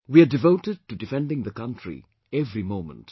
We are devoted to defending the country every moment